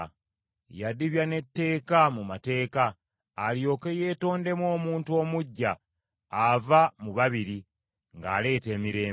Yadibya n’etteeka mu mateeka, alyoke yeetondemu omuntu omuggya ava mu babiri, ng’aleeta emirembe,